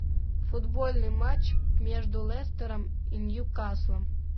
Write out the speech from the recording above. футбольный матч между лестером и ньюкаслом